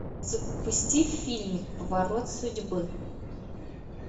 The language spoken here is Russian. запусти фильмик поворот судьбы